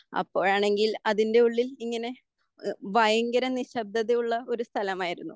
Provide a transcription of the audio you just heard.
അപ്പോഴാണെങ്കിൽ അതിൻ്റെ ഉള്ളിൽ ഇങ്ങനെ ഭയങ്കര നിശബ്ദത ഉള്ള ഒരു സ്ഥലമായിരുന്നു.